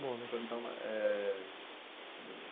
Bom, ia perguntar uma eh